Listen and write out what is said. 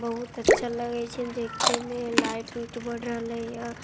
बहुत अच्छा लगई छे देखे में लाईट उइठ बर रहील आ --